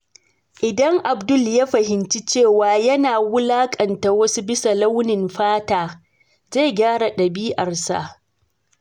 Idan Abdul ya fahimci cewa yana wulakanta wasu bisa launin fata, zai gyara dabi'arsa.